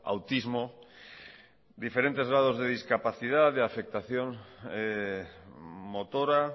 autismo diferentes grados de discapacidad de afectación motora